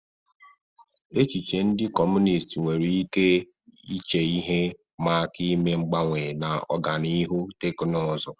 Echiche ndị Kọmunist nwere ike iche ihe ịma aka ime mgbanwe na ọganihu teknụzụ